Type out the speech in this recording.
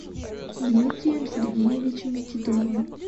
дмитрием сергеевичем титовым